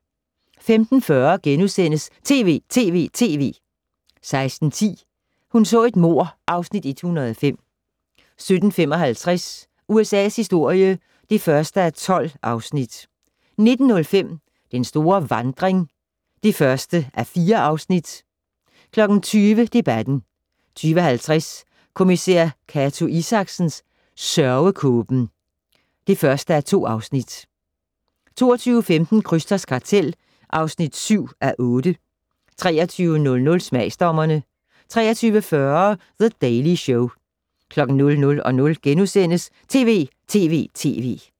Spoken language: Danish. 15:40: TV!TV!TV! * 16:10: Hun så et mord (Afs. 105) 17:55: USA's historie (1:12) 19:05: Den store vandring (1:4) 20:00: Debatten 20:50: Kommissær Cato Isaksen: Sørgekåben (1:2) 22:15: Krysters kartel (7:8) 23:00: Smagsdommerne 23:40: The Daily Show 00:00: TV!TV!TV! *